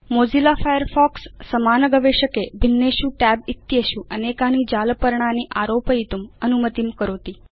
Mozilla Firefox समान गवेषके भिन्नेषु tab इत्येषु अनेकानि जालपर्णानि आरोपयितुम् अनुमतिं करोति